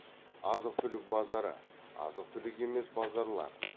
азық түлік базары азық түлік емес базарлар